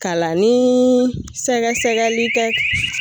Kalannii sɛgɛsɛgɛli kɛ